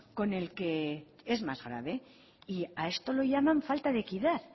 con el que es más grave y a esto le llaman falta de equidad